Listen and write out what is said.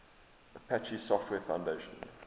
apache software foundation